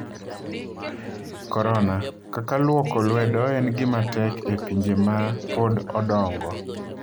Korona: Kaka lwoko lwedo en gima tek e pinje ma pod odongo